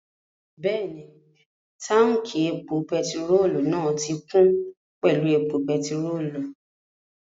Bẹ́ẹ̀ni, táùnkì epo pẹtirólù náà ti kún pẹ̀lú epo pẹtirólù